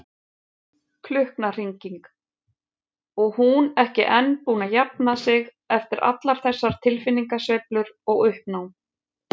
Klukknahringing, og hún ekki enn búin að jafna sig eftir allar þessar tilfinningasveiflur og uppnám.